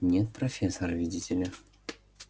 нет профессор видите ли